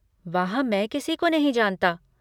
वहाँ मैं किसी को नहीं जानता।